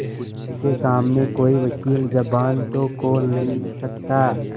उनके सामने कोई वकील जबान तो खोल नहीं सकता